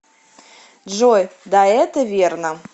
джой да это верно